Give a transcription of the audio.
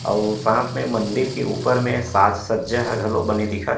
अउ ओ साथ में मंदिर के ऊपर में साज सज्जा ह बने दिखत हे।